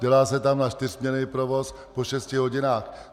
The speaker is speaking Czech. Dělá se tam na čtyřsměnný provoz po šesti hodinách.